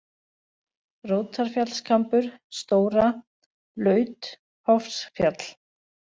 Rótarfjallskambur, Stóra, laut, Hofsfjall